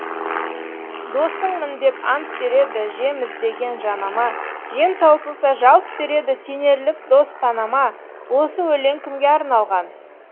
досыңмын деп ант береді жем іздеген жанама жем таусылса жалт береді сенерлік дос санама осы өлең кімге арналған